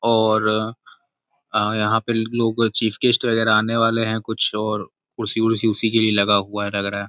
और आ यहां पर लोग चीफ गेस्ट वगैरह आने वाले हैं कुछ और कुर्सी कुर्सी उसी के लिए लगा हुआ है लग रहा है।